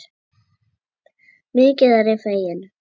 Mikið er ég fegin.